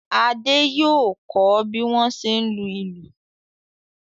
Adé yóò kọ́ bí wọ́n ṣe ń lu ìlù.